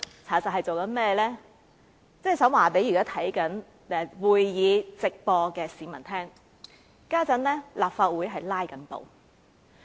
我只想告訴現正觀看會議直播的市民，立法會正在"拉布"。